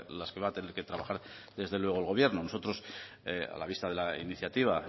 las que va a tener que trabajar desde luego el gobierno nosotros a la vista de la iniciativa